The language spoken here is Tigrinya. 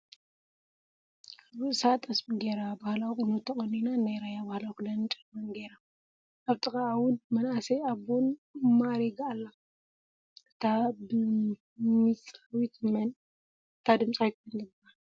ኣብ ርእሳ ጠስሚ ገይራ ባህላዊ ቁኖ ተቀኒና ናይ ራያ ባህላዊ ክዳንን ጫማን ገይራ ።ኣብ ጥቃአ እውን በመናአሰይን ኣቦን ማእሪጋ አላ። እታ ብሚፃዊት መን ትባሃል?